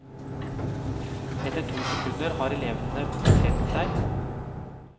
Etter to sekunder har elevene plassert deg.